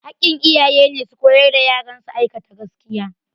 Hakkin iyaye ne su koyar da yaran su aikata gaskiya